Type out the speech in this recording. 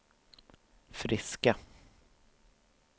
friska